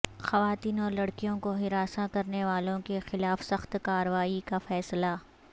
خواتین اور لڑکیوں کو ہراساں کرنے والوں کیخلاف سخت کارروائی کا فیصلہ